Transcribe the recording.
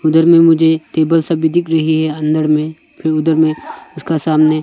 अंदर में मुझे टेबल सब भी दिख रहे हैं अंदर में फिर उधर में उसके सामने।